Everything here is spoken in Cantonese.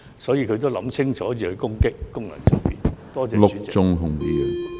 所以，他應該想清楚再攻擊功能界別。